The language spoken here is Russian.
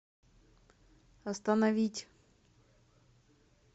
остановить